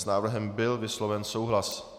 S návrhem byl vysloven souhlas.